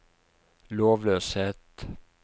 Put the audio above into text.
lovløshet